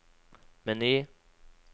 meny